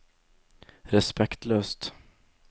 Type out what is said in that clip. respektløst